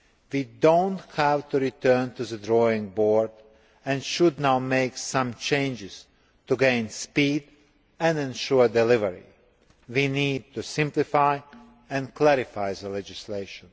We do not have to return to the drawing board and should now make some changes in order to gain speed and ensure delivery. We need to simplify and clarify the legislation.